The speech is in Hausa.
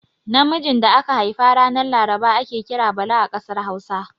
Namijin da aka haifa ranar laraba ake kira Bala a ƙasar Hausa.